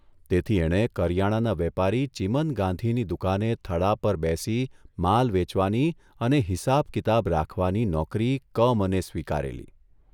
તેથી એણે કરિયાણાના વેપારી ચીમન ગાંધીની દુકાને થડા પર બેસી માલ વેચવાની અને હિસાબ કિતાબ રાખવાની નોકરી કમને સ્વીકારેલી.